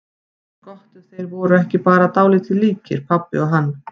Gott ef þeir voru ekki bara dálítið líkir, pabbi og hann.